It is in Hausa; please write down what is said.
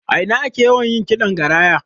A ina ake yawan yin ƙidan Garaya?